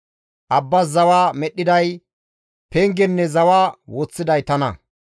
Abbas zawa medhdhiday pengenne zawa woththiday tana.